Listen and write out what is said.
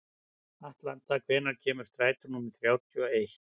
Atlanta, hvenær kemur strætó númer þrjátíu og eitt?